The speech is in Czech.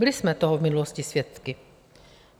Byli jsme toho v minulosti svědky.